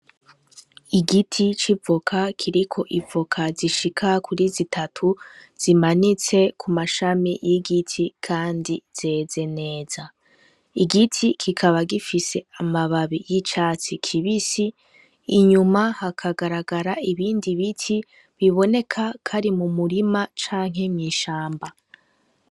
Igiti c'ivoka kiriko ivoka zishika kuri zitatu zimanitse kumashami y'igiti kandi zeze neza, igiti kikaba gifise amababi y'icatsi kibisi, inyuma hakagaragara ibindi biti biboneka ko ari m'umurima canke mw'ishamba.